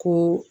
Ko